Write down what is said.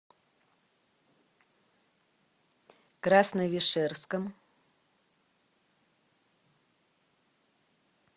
красновишерском